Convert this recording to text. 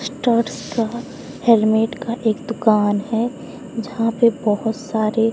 studs का helmet का एक दुकान है जहां पे बहुत सारे--